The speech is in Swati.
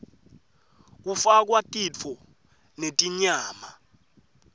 kufakwa titfo netinyama